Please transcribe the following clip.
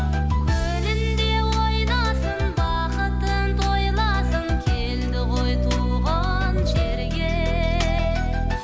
көліңде ойнасын бақытын тойласын келді ғой туған жерге